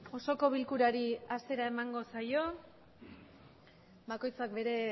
osoko bilkurari hasiera emango saio bakoitza bere